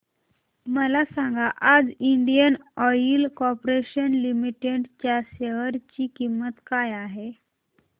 मला सांगा आज इंडियन ऑइल कॉर्पोरेशन लिमिटेड च्या शेअर ची किंमत काय आहे